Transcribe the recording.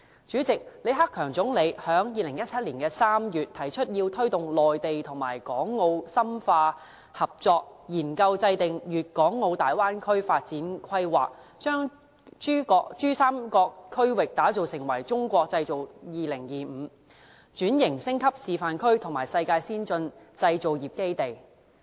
主席，李克強總理在2017年3月提出要推動內地與港澳深化合作，研究制訂粵港澳大灣區發展規劃，把珠三角區域打造成為《中國製造2025》轉型升級示範區和世界先進製造業基地。